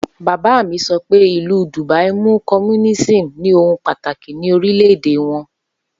Baba mi sọ pé Ìlú Dubai mú communism ni ohun pataki ni orilẹ-ede wọn